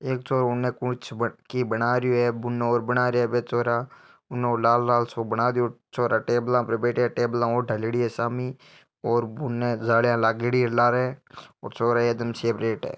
एक छोरो उन कुछ मटकी बना रहियो है बुने और बना रिया है बे छोरा उन ओ लाल लाल सो बना रियो छोरा टेबल पर बैठया है टेबल और ढ़ाल्योड़ी है सामी और बुने जालियां लागेड़ी लारे छोरा एक दम सेफ्रेट है।